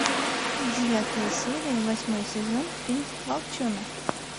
девятая серия восьмой сезон фильм волчонок